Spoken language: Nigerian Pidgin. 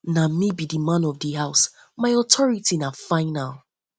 na me be man of di house my authority na final